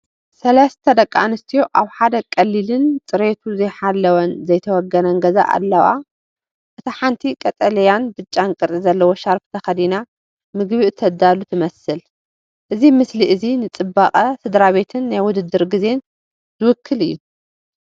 ሰለስተ ደቂ ኣንስትዮ ኣብ ሓደ ቀሊልን ፅሬቱ ዘይሓለወን ዘይተወገነን ገዛ ኣለዋ። እታ ሓንቲ ቀጠልያን ብጫን ቅርጺ ዘለዎ ሻርኘ ተኸዲና፡ ምግቢ እተዳሉ ትመስል። እዚ ምስሊ እዚ ንጽባቐ ስድራቤትን ናይ ውድድር ግዜን ዝውክል እዩ።